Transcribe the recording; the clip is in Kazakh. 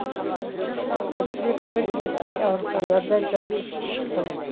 әлсіреп бір екі ай ауруханада жатып шықты